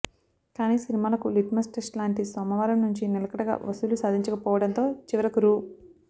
కానీ సినిమాలకు litmus test లాంటి సోమవారం నుంచి నిలకడగా వసూళ్లు సాధించకపోవడంతో చివరకు రూ